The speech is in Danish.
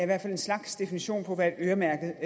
hvert fald en slags definition på et øremærket